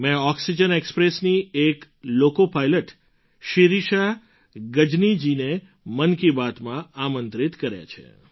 મેં ઑક્સિજન ઍક્સ્પ્રેસની એક લૉકૉપાઇલૉટ શિરિષા ગજનીજીને મન કી બાતમાં આમંત્રિત કર્યાં છે